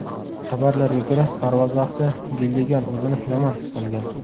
Xabarlarga ko‘ra, parvoz vaqtida Gilligan o‘zini yomon his qilgan.